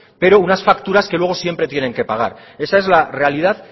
pero unas facturas que luego siempre tienen que pagar esa es la realidad